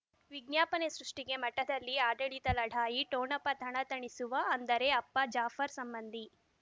ವಿಜ್ಞಾಪನೆ ಸೃಷ್ಟಿಗೆ ಮಠದಲ್ಲಿ ಆಡಳಿತ ಲಢಾಯಿ ಠೊಣಪ ತನತನಸುವ ಅಂದರೆ ಅಪ್ಪ ಜಾಫರ್ ಸಂಬಂಧಿ